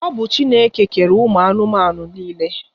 Ọ bụ Chineke kere ụmụ anụmanụ niile.